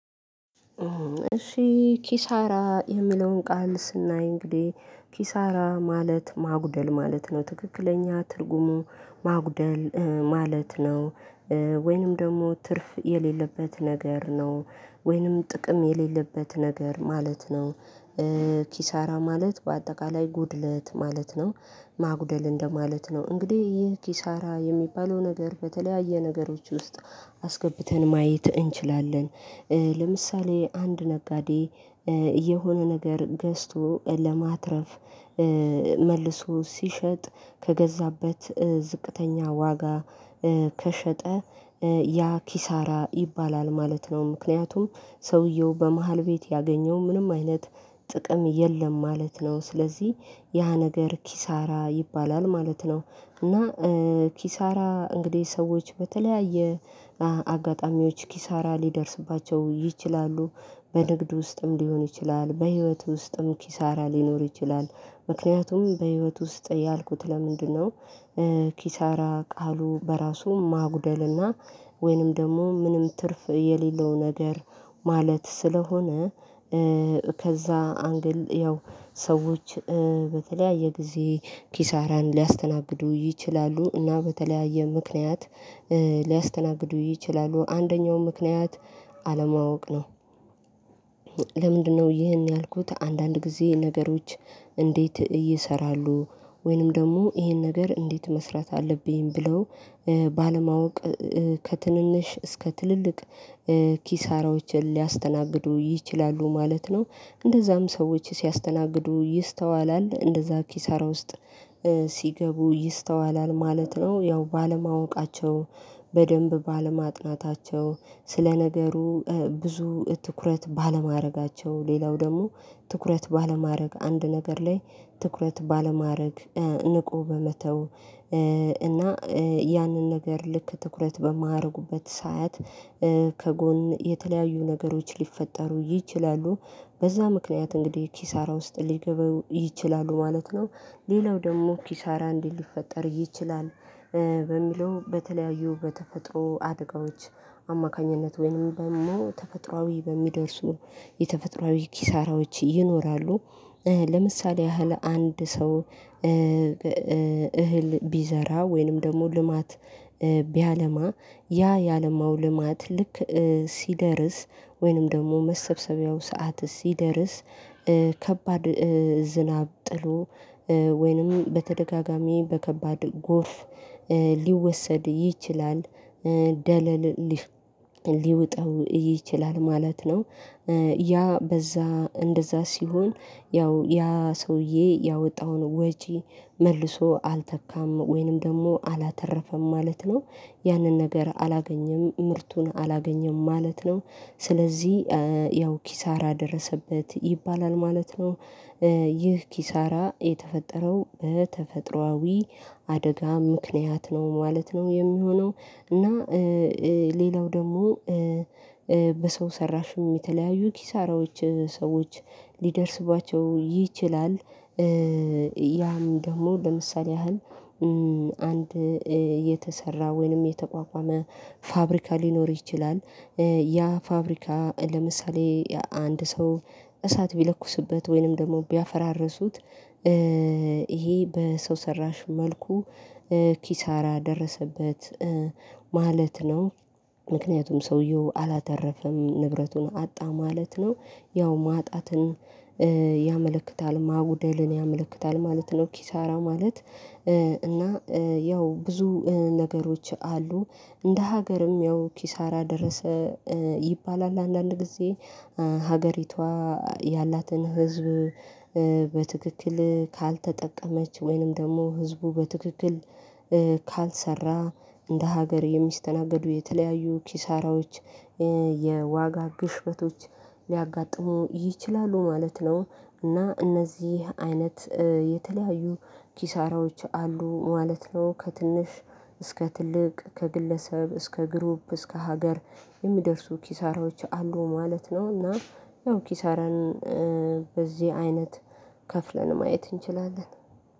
እሺ ኪሳራ የሚለውን ቃል ስናይ እንግዲህ ኪሳራ ማለት ማጉደል ማለት ነው ትክክለኛ ትርጉሙ ማጉደል ማለት ነው። ወይንም ደግሞ ትርፍ የሌለበት ነገር ነው ወይንም ጥቅም የሌለበት ነገር ማለት ነው። ኪሳራ ማለት በአጠቃላይ ጉድለት ማለት ነው። ማጉደል እንደማለት ነው እንግዲህ ይህ ኪሳራ የሚባለው ነገር በተለያየ ነገሮች ውስጥ አስገብተን ማየት እንችላለን። ለምሳሌ አንድ ነጋዴ የሆነ ነገር ገዝቶ ለማትረፍ መልሶ ሲሸጥ ከገዛበት ዝቅተኛ ዋጋ ከሸጠ ያ ኪሳራ ይባላል ማለት ነው። ምክንያቱም ሰውየው በመሃል ቤት ያገኘው ምንም አይነት ጥቅም የለም ማለት ነው። ስለዚህ ያ ነገር ኪሳራ ይባላል ማለት ነው። እና ኪሳራ እንግዲህ ሰዎች በተለያየ አጋጣሚዎች ኪሳራ ሊደርስባቸው ይችላሉ በንግድ ውስጥም ሊሆን ይችላል በህይወት ውስጥም ኪሳራ ሊኖር ይችላል። ምክንያቱም በህይወት ውስጥ ያልኩት ለምንድነው ኪሳራ ቃሉ በራሱ ማጉደልና ወይንም ደግሞ ምንም ትርፍ የሌለው ነገር ማለት ስለሆነ። ከዛ አንግል ያው ሰዎች በተለያየ ጊዜ ኪሳራን ሊያስተናግዱ ይችላሉ እና በተለያየ ምክንያት ሊያስተናግዱ ይችላሉ አንደኛው ምክንያት አለማወቅ ነው። ለምንድነው ይህን ያልኩት አንዳንድ ጊዜ ነገሮች እንዴት ይሰራሉ ወይንም ደግሞ ይሄን ነገር እንዴት መስራት አለብኝ ብለው ባለማወቅ ከትንንሽ እስከ ትልልቅ ኪሳራዎችን ሊያስተናግዱ ይችላሉ ማለት ነው። እንደዛም ሰዎች ሲያስተናግዱ ይስተዋላል እንደዛ ኪሳራ ውስጥ ሲገቡ ይስተዋላል ማለት ነው። ያው ባለማወቃቸው በደንብ ባለማጥናታቸው ስለነገሩ ብዙ ትኩረት ባለማድረጋቸው ሌላው ደግሞ ትኩረት ባለማድረግ አንድ ነገር ላይ ትኩረት ባለማድረግ ንቆ በመተው እና ያንን ነገር ልክ ትኩረት በማያደርጉበት ሰዓት ከጎን የተለያዩ ነገሮች ሊፈጠሩ ይችላሉ በዛ ምክንያት እንግዲህ ኪሳራ ውስጥ ሊገባው ይችላሉ ማለት ነው። ሌላው ደግሞ ኪሳራ እንዲህ ሊፈጠር ይችላል በሚለው በተለያዩ በተፈጥሮ አደጋዎች አማካኝነት ወይንም ደግሞ ተፈጥሮአዊ በሚደርሱ የተፈጥሮአዊ ኪሳራዎች ይኖራሉ። ለምሳሌ ያህል አንድ ሰው እህል ቢዘራ ወይንም ደግሞ ልማት ቢያለማ ያ ያለማው ልማት ልክ ሲደርስ ወይንም ደግሞ መሰብሰቢያው ሰዓት ሲደርስ ከባድ ዝናብ ጥሎ ወይንም በተደጋጋሚ በከባድ ጎርፍ ሊወሰድ ይችላል ደለል ሊውጠው ይችላል ማለት ነው። ያ በዛ እንደዛ ሲሆን ያው ያ ሰውዬ ያወጣውን ወጪ መልሶ አልተካም ወይንም ደግሞ አላተረፈም ማለት ነው። ያንን ነገር አላገኘም ምርቱን አላገኘም ማለት ነው። ስለዚህ ያው ኪሳራ ደረሰበት ይባላል ማለት ነው። ይህ ኪሳራ የተፈጠረው በተፈጥሮአዊ አደጋ ምክንያት ነው ማለት ነው የሚሆነው። እና ሌላው ደግሞ በሰው ሰራሽም የተለያዩ ኪሳራዎች ሰዎች ሊደርስባቸው ይችላል። ያም ደግሞ ለምሳሌ ያህል አንድ የተሰራ ወይንም የተቋቋመ ፋብሪካ ሊኖር ይችላል። ያ ፋብሪካ ለምሳሌ አንድ ሰው እሳት ቢለኩስበት ወይንም ደግሞ ቢያፈራርሱት ይሄ በሰው ሰራሽ መልኩ ኪሳራ ደረሰበት ማለት ነው ምክንያቱም ሰውየው አላተረፈም ንብረቱን አጣ ማለት ነው። ያው ማጣትን ያመለክታል ማጉደልን ያመለክታል ማለት ነው ኪሳራ ማለት። እና ያው ብዙ ነገሮች አሉ እንደ ሀገርም ያው ኪሳራ ደረሰ ይባላል አንዳንድ ጊዜ ሀገሪቷ ያላትን ህዝብ በትክክል ካልተጠቀመች ወይንም ደግሞ ህዝቡ በትክክል ካልሰራ እንደ ሀገር የሚስተናገዱ የተለያዩ ኪሳራዎች የዋጋ ግሽበቶች ሊያጋጥሙ ይችላሉ ማለት ነው። እና እነዚህ አይነት የተለያዩ ኪሳራዎች አሉ ማለት ነው። ከትንሽ እስከ ትልቅ ከግለሰብ እስከ ግሩፕ እስከ ሀገር የሚደርሱ ኪሳራዎች አሉ ማለት ነው። እና ያው ኪሳራን በዚህ አይነት ከፍለን ማየት እንችላለን